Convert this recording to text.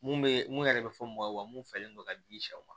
Mun bɛ mun yɛrɛ bɛ fɔ mɔgɔw ye wa mun fɛlen don ka di sɛw ma